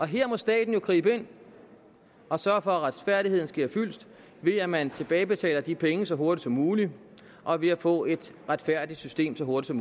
her må staten jo gribe ind og sørge for at retfærdigheden sker fyldest ved at man tilbagebetaler de penge så hurtigt som muligt og ved at få et retfærdigt system så hurtigt